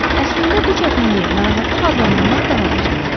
Əslində bu çətinliyi narahatlıq adlandırmaq daha düzgün olar.